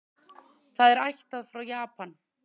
Það er ættað frá Japan.